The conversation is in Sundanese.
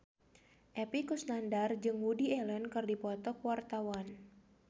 Epy Kusnandar jeung Woody Allen keur dipoto ku wartawan